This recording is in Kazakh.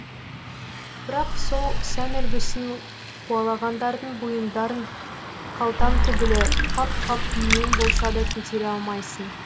бірақ сол сән үлгісін қуалағандардың бұйымдарын қалтаң түгілі қап қап дүниең болса да көтере алмайсың